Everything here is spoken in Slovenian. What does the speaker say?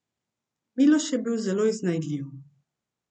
Miloš je bil zelo iznajdljiv.